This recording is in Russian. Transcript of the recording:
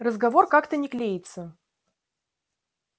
разговор как-то не клеится